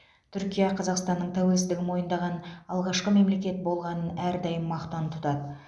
түркия қазақстанның тәуелсіздігін мойындаған алғашқы мемлекет болғанын әрдайым мақтан тұтады